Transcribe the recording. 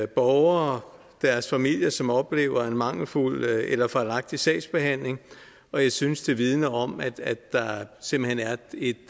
borgere og deres familier som oplever en mangelfuld eller fejlagtig sagsbehandling og jeg synes det vidner om at der simpelt hen er et